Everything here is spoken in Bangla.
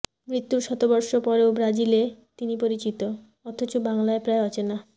মৃত্যুর শতবর্ষ পরেও ব্রাজিলে তিনি পরিচিত অথচ বাংলায় প্রায় অচেনা